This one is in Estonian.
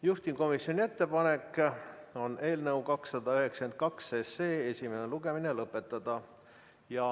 Juhtivkomisjoni ettepanek on eelnõu 292 esimene lugemine lõpetada.